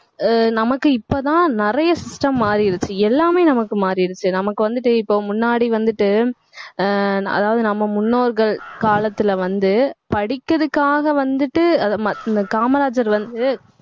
நமக்கு இப்பதான் நிறைய system மாறிருச்சு எல்லாமே நமக்கு மாறிடுச்சு நமக்கு வந்துட்டு இப்ப முன்னாடி வந்துட்டு ஆஹ் அதாவது நம்ம முன்னோர்கள் காலத்துல வந்து, படிக்கிறதுக்காக வந்துட்டு அதை மத்~ இந்த காமராஜர் வந்து